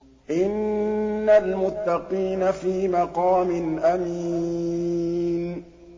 إِنَّ الْمُتَّقِينَ فِي مَقَامٍ أَمِينٍ